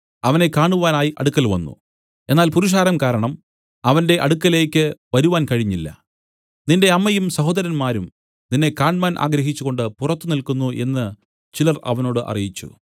അവനെ കാണുവാനായി അടുക്കൽ വന്നു എന്നാൽ പുരുഷാരം കാരണം അവന്റെ അടുക്കലേക്ക് വരുവാൻ കഴിഞ്ഞില്ല നിന്റെ അമ്മയും സഹോദരന്മാരും നിന്നെ കാണ്മാൻ ആഗ്രഹിച്ചുകൊണ്ട് പുറത്തു നില്ക്കുന്നു എന്നു ചിലർ അവനോട് അറിയിച്ചു